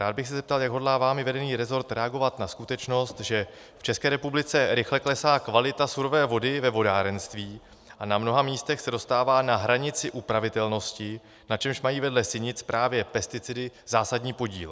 Rád bych se zeptal, jak hodlá vámi vedený resort reagovat na skutečnost, že v České republice rychle klesá kvalita surové vody ve vodárenství a na mnoha místech se dostává na hranici upravitelnosti, na čemž mají vedle sinic právě pesticidy zásadní podíl.